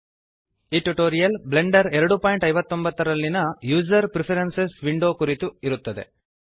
ಈ tutorial blender 259 ನಲ್ಲಿಯ user preferences window ಕುರಿತು ಇರುತ್ತದೆ